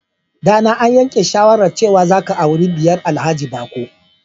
Dana, an yanke shawarar cewa za ka auri diyar Alhaji Bako.